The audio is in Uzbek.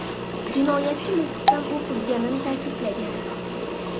Jinoyatchi miltiqdan o‘q uzgani ta’kidlangan.